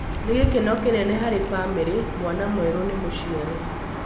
Nĩ gĩkeno kĩnene harĩ famĩrĩ, mwana mwerũ nĩ mũciare.